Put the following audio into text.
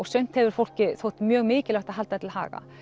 sumt hefur fólki þótt mjög mikilvægt að halda til haga